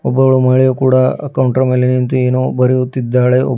ಒಬ್ಬಳು ಮಹಿಳೆ ಕೂಡ ಅ ಕೌಂಟರ್ ಮೇಲೆ ನಿಂತು ಏನೋ ಬರೆಯುತ್ತಿದ್ದಾಳೆ.